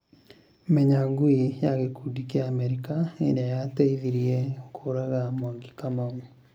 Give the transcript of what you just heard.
Menya ngui ya gĩkundi kĩa Amerika ĩrĩa yateithirie kũraga mwangi kamau